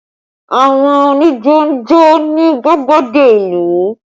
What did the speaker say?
Àwọn onijo ń jó ní gbàgede ìlú